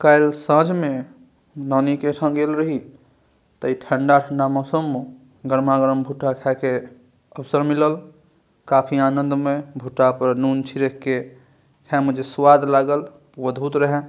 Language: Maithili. काल साँझ में नानी के एठा गेल रही ते ए ठंडा-ठंडा मौसम म गरमा-गरम भुट्टा खाय के अवसर मिलल काफी आनंद में भुट्टा पर नून छिड़क के खाय में जे स्वाद लागल ऊ अदभुत रेहा।